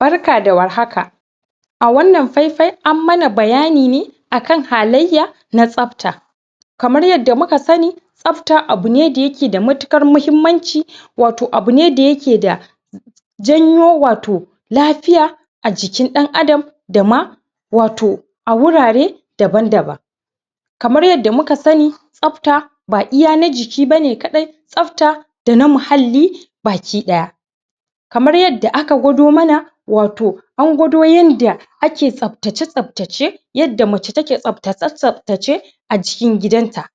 Barka da warhaka! a wannan faifai an mana bayani ne akan halayya na tsafta kamar yanda muka sanni tsafta abune da yake da matuƙar muhimmanci wato abune da yake da janyo wato lafiya a jikin ɗan adam da ma wato a wurare daban-daban kamar yanda muka sanni tsafta ba iya na jiki bane kaɗai tsafta dana muhalli baki ɗaya kamar yadda aka gwado mana wato an gwado yanda ake tsaftace-tsaftace yanda mace take tsafta tsaftace acikin gidanta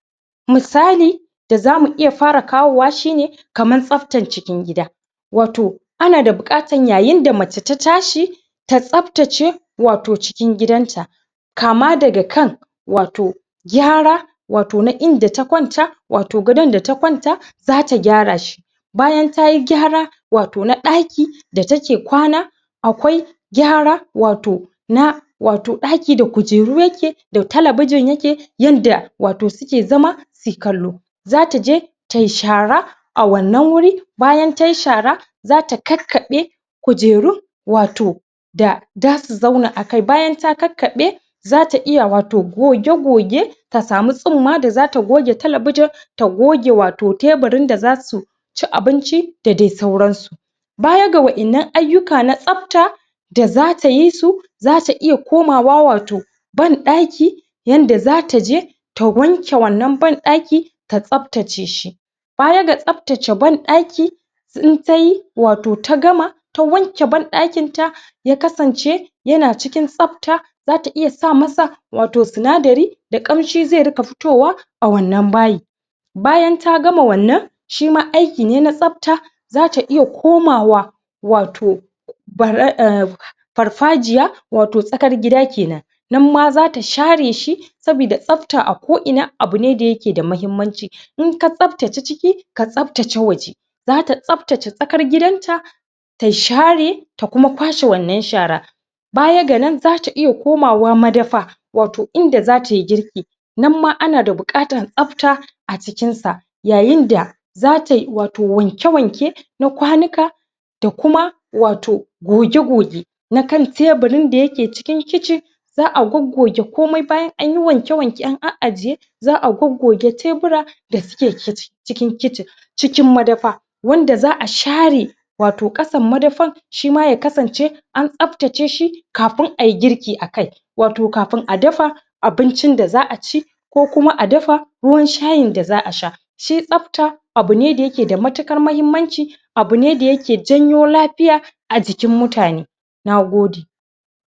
musali da zamu iya fara kawowa shi ne kaman tsaftan cikin gida wato ana da buƙatan yayin da mace ta tashi ta tsaftace wato cikin gidanta kama daga kan wato gyara wato na inda ta kwanta wato gadon da ta kwanta zata gyara shi bayan tayi gyara wato na ɗaki da take kwana akwai gyara wato na wato ɗaki da kujeru yake da talabijin yake yanda wato suke zama sui kallo zata je tai shara a wannan wuri bayan tai shara zata kakkaɓe kujeru wato da da su zauna akai, bayan ta kakkaɓe zata iya wato goge-goge ta samu tsumma da zata goge talabujin ta goge wato teburin da zasu ci abinci da dai sauran su baya ga wa'innan ayyuka na tsafta da zata yi su zata iya komawa wato banɗaki yanda zata je ta wanke wannan banɗaki ta tsaftace shi baya ga tsaftace banɗaki in tayi wato ta gama ta wanke banɗakin ta ya kasance yana cikin tsafta zata iya sa masa wato sinadari da ƙamshi zai riƙa fitowa a wannan bayi bayan ta gama wannan shima aiki ne na tsafta zata iya komawa wato farfajiya wato tsakar gida kenan nan ma zata share shi sabida tsafta a ko ina abune da yake da mahimmanci inka tsaftace ciki ka tsaftace waje zata tsaftace tsakar gidanta ta share ta kuma kwashe wannan shara baya ga nan zata iya komawa ma dafa wato inda zatai girki nan ma ana da buƙatan tsafta a jikinsa yayin da zatai wato wanke-wanke na kwanuka da kuma wato goge-goge na kan teburin da yake cikin kicin za'a goggoge komai bayan anyi wanke-wanke an a'ajiye za'a goggoge tebura da suke kicin cikin kicin cikin madafa wanda za'a share wato ƙasan madafan shima ya kasance an tsaftace shi kafin ai girki akai wato kafun a dafa abuncin da za'a ci ko kuma a dafa ruwan shayin da za'a sha shi tsafta abune da yake da matukar mahimmanci abune da yake janyo lafiya a jikin mutane Nagode!